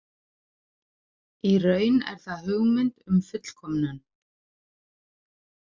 Í raun er það hugmynd um fullkomnun.